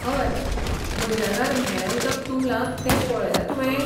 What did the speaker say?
हय, मैदानार म्हेळें उदक तुंबलां तें पळयलां तुवें?